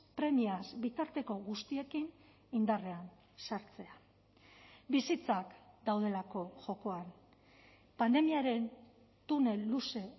premiaz bitarteko guztiekin indarrean sartzea bizitzak daudelako jokoan pandemiaren tunel luze